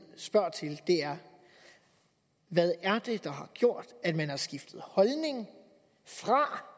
spørger til er hvad er det der har gjort at man har skiftet holdning fra